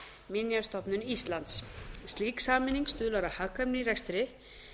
minjastofnun íslands slík sameining stuðlar að hagkvæmni í rekstri